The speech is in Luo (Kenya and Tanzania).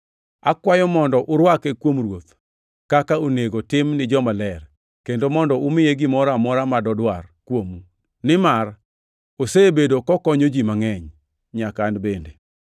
Akwayou mondo urwake kuom Ruoth, kaka onego tim ni jomaler, kendo mondo umiye gimoro amora ma dodwar kuomu, nimar osebedo kokonyo ji mangʼeny, nyaka an bende.